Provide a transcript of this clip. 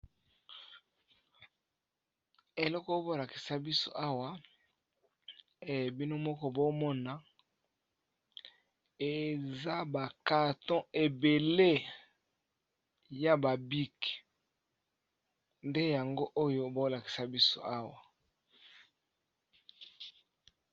Eleko oyo bolakisa biso awa e bino moko bomona eza bakarton ebele ya babike nde yango oyo bolakisa biso awa.